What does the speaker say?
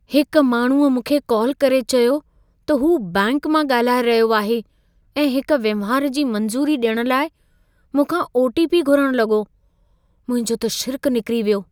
हिक माण्हूअ मूंखे कॉल करे चयो त हू बैंक मां ॻाल्हाए रहियो आहे ऐं हिक वहिंवार जी मंज़ूरी ॾियण लाइ मूंखां ओ.टी.पी. घुरण लॻो। मुंहिंजो त छिरिकु निकरी वियो।